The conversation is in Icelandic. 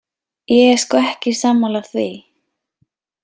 Ég er sko ekki sammála því.